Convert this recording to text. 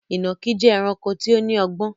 Ìnàkí jẹ́ ẹranko tí ó lọ́gbọ́n